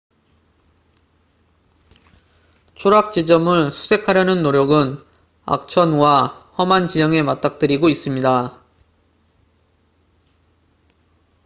추락 지점을 수색하려는 노력은 악천후와 험한 지형에 맞닥뜨리고 있습니다